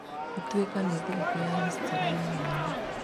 Ituĩka nĩ thigũkũ ya history ya mwanya.